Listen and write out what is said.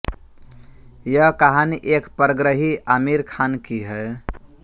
यह कहानी एक परग्रही आमिर खान की है